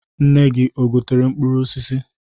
Nne gi o getere mkpụrụ osisi?